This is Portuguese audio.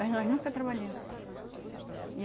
Mas nós nunca trabalhemos. E